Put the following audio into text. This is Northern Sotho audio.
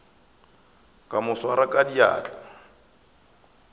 ka mo swara ka diatla